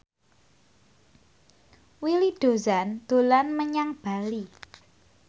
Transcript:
Willy Dozan dolan menyang Bali